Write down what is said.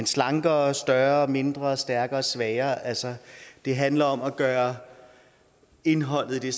slankere større mindre stærkere svagere altså det handler om at gøre indholdet i